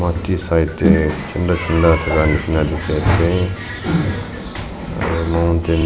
te side tae chinta chinta dikhiase aro.